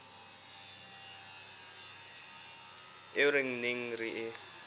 eo re neng re e